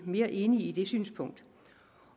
mere enig i det synspunkt